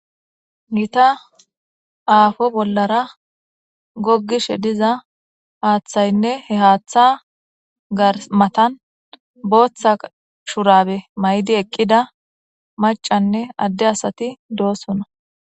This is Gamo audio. gita aafo bollara gogishe diza haaththaynne he haaththa garmatan booththa shurabe maydi eqqida macanne adde asati doosona